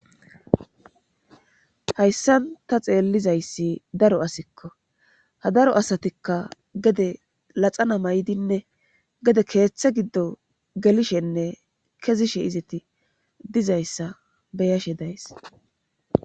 hayssan ta xeellizayssi daro asikko ha daro asatikka gede laxana maydinne gede keeththe giddo gelishenne kezishe izeti dizayssa beyashe days